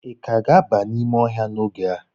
ị ka ga-aba n'ime ọhịa n'oge a?